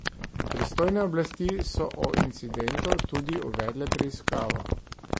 Pristojne oblasti so o incidentu tudi uvedle preiskavo.